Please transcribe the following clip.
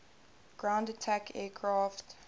ground attack aircraft